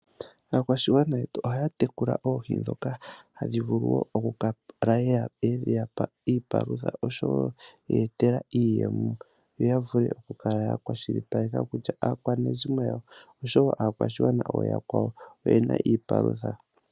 Aakwashigwana yetu ohaya tekula oohi ndhoka hadhi vulu woo oku kala dheya pa iipalutha, oshowo okuya etela iiyemo, yo ya vule okukala ya kwashilipaleke kutya, aakwanezimo yawo, noshowo aakwashigwana ooyakwawo oyena iipalutha.